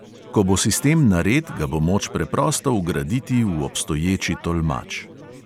Ko bo sistem nared, ga bo moč preprosto vgraditi v obstoječi tolmač.